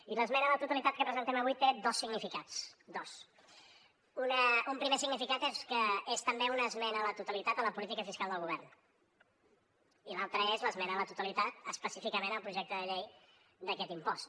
i l’esmena a la totalitat que presentem avui té dos significats dos un primer significat és que és també una esmena a la totalitat a la política fiscal del govern i l’altra és l’esmena a la totalitat específicament al projecte de llei d’aquest impost